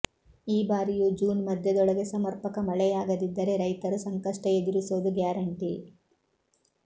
ಈ ಬಾರಿಯೂ ಜೂನ್ ಮಧ್ಯದೊಳಗೆ ಸಮರ್ಪಕ ಮಳೆಯಾಗದಿದ್ದರೆ ರೈತರು ಸಂಕಷ್ಟ ಎದುರಿಸೋದು ಗ್ಯಾರಂಟಿ